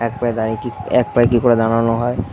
এক পায়ে দাড়িয়ে কি এক পায়ে কি করে দাড়ানো হয়।